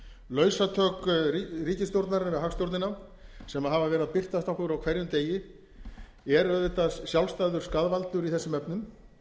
lausatök ríkisstjórnarinnar við hagstjórnina sem hafa verið að birtast okkur á hverjum degi eru auðvitað sjálfstæður skaðvaldur í þessum efnum